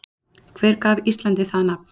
Hver gaf Íslandi það nafn?